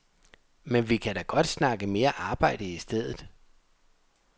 Men vi kan da godt snakke mere arbejde i stedet.